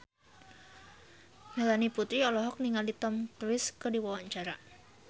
Melanie Putri olohok ningali Tom Cruise keur diwawancara